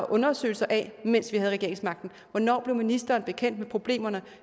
undersøgelser af mens vi havde regeringsmagten hvornår blev ministeren bekendt med problemerne